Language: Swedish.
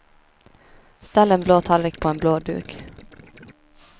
Ställ en blå tallrik på en blå duk.